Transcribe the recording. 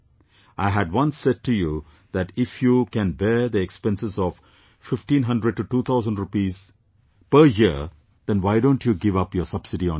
I had once said to you that if you can bear the expense of 15002000 rupees per year, then why don't you give up your subsidy on gas